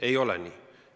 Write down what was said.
Ei ole nii.